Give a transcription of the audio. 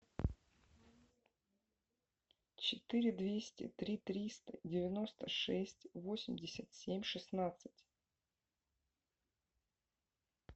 четыре двести три триста девяносто шесть восемьдесят семь шестнадцать